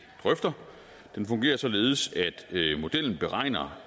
drøfter således at modellen beregner